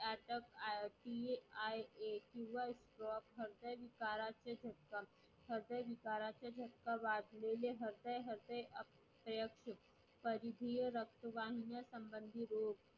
आयोजिले आहेत एक दिवस हृदय विकाराचा झटका हृदय विकाराचा झटका वाचलेले हृदय हृदय परिमीय रक्तदाबा संबंधी रोग